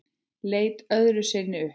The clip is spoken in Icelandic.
Leit öðru sinni upp.